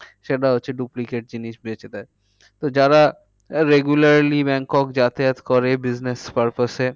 সেটা হচ্ছে duplicate জিনিস বেঁচে দেয়। তো যারা আহ regularly ব্যাংকক যাতায়াত করে business purpose এ